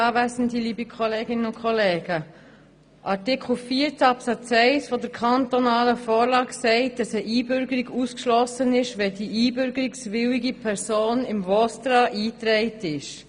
Artikel 14 Absatz 1 der kantonalen Vorlage sagt, eine Einbürgerung sei ausgeschlossen, wenn die einbürgerungswillige Person in VOSTRA eingetragen ist.